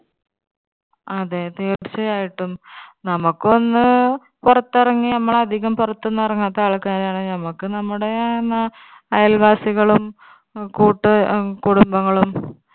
അതെ തീർച്ചയായിട്ടും നമുക്കൊന്ന് പൊറത്തിറങ്ങി നമ്മൾ അധികം പുറത്തൊന്നും ഇറങ്ങാത്ത ആൾക്കാരാണ് നമ്മുക്ക് നമ്മുടെ എന്താ അയൽവാസികളും കൂട്ട് ഹും കുടുംബങ്ങളും